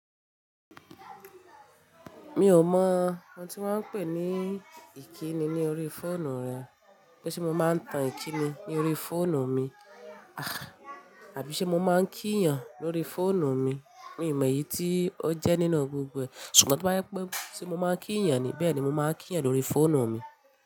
Mi ò mọ ohun tí wọ́n ń pè ní ìkíni ní orí fóònù rẹ, pé ṣé mo máa ń tan ìkíni ní orí fóònù mi, àbíṣẹ́ mo máa ń kí èèyàn lórí fóònù mi. Mi ò mọ èyí tí ó jẹ́ nínú gbogbo e, ṣùgbọ́n tí ó bá jẹ pé sebmo máa ń kí èèyàn ni bẹ́ẹ̀ ni mo máa ń kí èèyàn lórí fóònù mi.